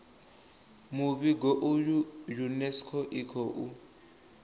muvhigo uyu unesco i khou